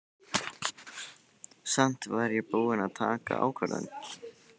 Samt var ég búin að taka ákvörðun.